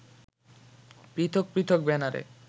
পৃথক পৃথক ব্যানারে